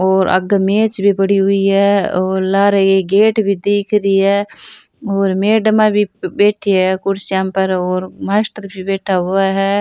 और आगे मेज भी पड़ी हुई है और लाल रंग की गेट भी दिख ऋ है और मेडम भी बैठी है कई कुर्सियां पर और मास्टर भी बैठा हुआ है।